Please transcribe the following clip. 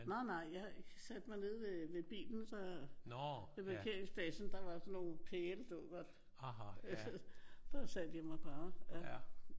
Nej nej. Jeg satte mig nede ved ved bilen så ved parkeringspladsen der var sådan nogle pæle du ved godt. Der satte jeg mig bare